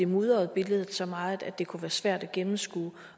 mudre billedet så meget at det kunne være svært at gennemskue